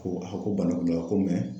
Ko a ko bana kunda ko